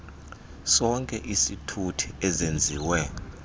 sonke isithuthi ezenziwe